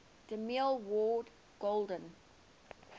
demille award golden